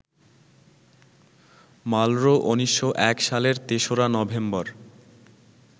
Marlboro ১৯০১ সালের ৩রা November